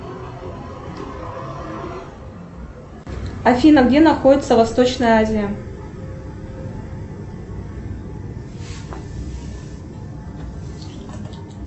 афина где находится восточная азия